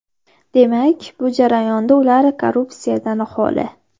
Demak, bu jarayonda ular korrupsiyadan xoli.